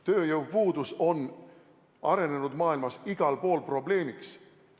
Tööjõupuudus on arenenud maailmas igal pool probleemiks.